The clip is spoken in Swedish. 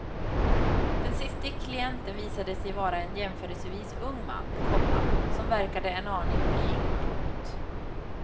Den siste klienten visade sig vara en jämförelsevis ung man, komma som verkade en aning blyg. punkt